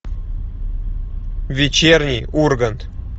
вечерний ургант